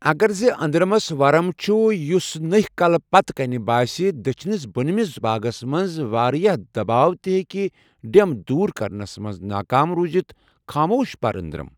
اگر زٕ أنٛدرَمس ورم چُھ یُس نٕہہِ كلس پتہٕ كٕنہِ باسہِ، دٔچھنِس بونمِس باگس منٛز وارِیاہ دباو تہِ ہیكہِ ڈیمب دوٗر كرنس منز ناكام روٗزِتھ خاموش پٔر اندرم۔